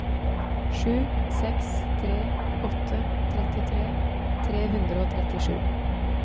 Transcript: sju seks tre åtte trettitre tre hundre og trettisju